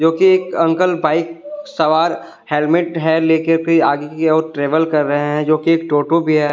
कि एक uncle bike सवार हेलमेट है लेकर फिर आगे की और ट्रेवल कर रहे हैं जो कि एक टोटो भी है।